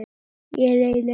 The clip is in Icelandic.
Ég reyndi líka í morgun.